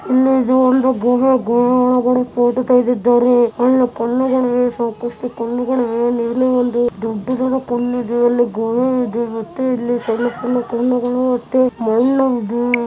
ಇಲ್ಲಿದೆ ಒಂದು ಭೂಮಿಯ ಒಳಗಡೆ ಫೋಟೋ ತೆಗೆದಿದ್ದಾರೆ. ಕಲ್ಲು ಕಲ್ಲುಗಳು ಇದೆ ಸಾಕಷ್ಟು ಕಲ್ಲುಗಳು ಇದೆ. ಮೇಲೆ ಒಂದು ದೊಡ್ಡದಾದ ಕಲ್ಲು ಇದೆ ಅಲ್ಲಿ ಮತ್ತೆ ಇಲ್ಲಿ ಸಣ್ಣ ಸಣ್ಣ ಕಲ್ಲುಗಳು ಮತ್ತೆ ಮಣ್ಣು ಭೂಮಿ --